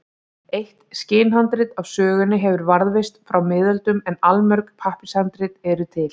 Eitt skinnhandrit af sögunni hefur varðveist frá miðöldum en allmörg pappírshandrit eru til.